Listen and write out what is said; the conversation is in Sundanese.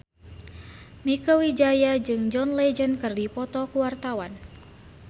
Mieke Wijaya jeung John Legend keur dipoto ku wartawan